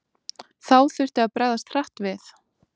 Þá þurfti að bregðast hratt við.